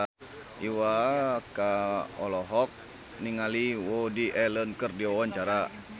Iwa K olohok ningali Woody Allen keur diwawancara